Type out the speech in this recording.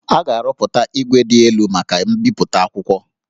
A ga-arụpụta igwe dị elu maka mbipụta akwụkwọ